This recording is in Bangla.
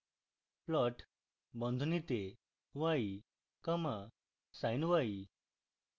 plot বন্ধনীতে y comma sin y